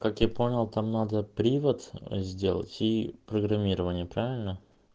как я понял там надо привод сделать и программирование правильно